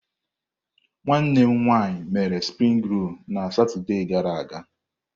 Nwanne m nwanyị mere springi rol na Satọde gara aga.